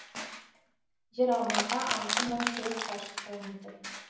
жер аумағы алты мың төрт шаршы километр